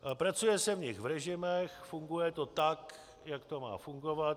Pracuje se v nich v režimech, funguje to tak, jak to má fungovat.